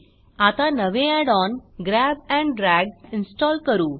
आता नवे Add on grab and drag install करू